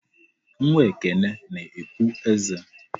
Nwa Ekene na-epu eze.